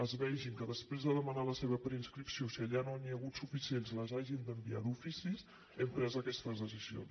es vegi que després de demanar la seva preinscripció si allà no n’hi ha hagut suficients les hagin d’enviar d’ofici hem pres aquestes decisions